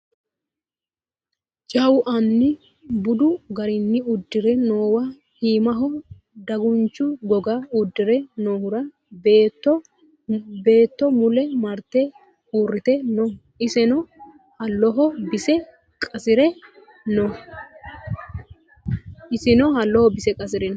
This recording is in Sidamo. jawu anni budu garinni uddire noowa iimaho dagunchu goga uddire noohura beetto mule marte uurrite no isino halloho bise qasire no